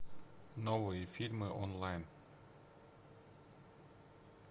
новые фильмы онлайн